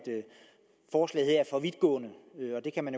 for vidtgående og det kan man